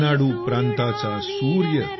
रेनाडू प्रांताचा सूर्य